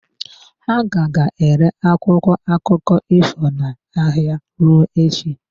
Ha ka ga-ere akwụkwọ akụkọ ifo n'ahịa ruo echi.